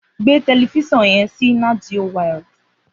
Gbé tẹlẹfiṣọn yẹn si nàtjió wàíld